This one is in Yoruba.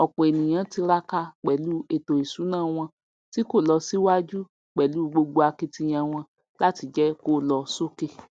òpò ènìyàn tiraka pèlú ètò ìsúná wọn tí kò lo síwájú pèlú gbogbo akitiyan wọn làti jé kó lo sókè